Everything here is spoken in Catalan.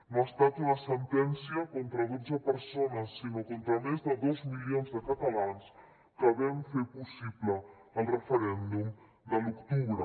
no ha estat una sentència contra dotze persones sinó contra més de dos milions de catalans que vam fer possible el referèndum de l’octubre